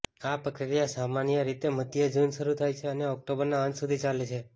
આ પ્રક્રિયા સામાન્ય રીતે મધ્ય જૂન શરૂ થાય છે અને ઓક્ટોબરના અંત સુધી ચાલે છે